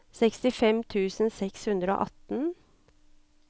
sekstifem tusen seks hundre og atten